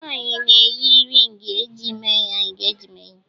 Nwaanyi na-eyi ringi eji mee ya engejment